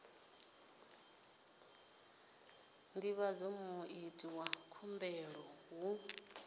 divhadza muiti wa khumbelo hu